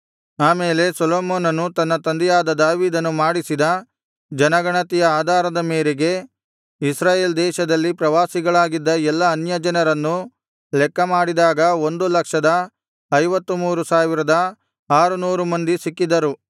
ಆಮೇಲೆ ಸೊಲೊಮೋನನು ತನ್ನ ತಂದೆಯಾದ ದಾವೀದನು ಮಾಡಿಸಿದ ಜನಗಣತಿಯ ಆಧಾರದ ಮೇರೆಗೆ ಇಸ್ರಾಯೇಲ್ ದೇಶದಲ್ಲಿ ಪ್ರವಾಸಿಗಳಾಗಿದ್ದ ಎಲ್ಲಾ ಅನ್ಯಜನರನ್ನು ಲೆಕ್ಕ ಮಾಡಿದಾಗ ಒಂದು ಲಕ್ಷದ ಐವತ್ತು ಮೂರು ಸಾವಿರದ ಆರುನೂರು ಮಂದಿ ಸಿಕ್ಕಿದರು